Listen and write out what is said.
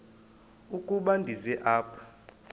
ukuba ndize apha